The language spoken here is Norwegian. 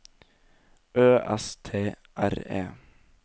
Ø S T R E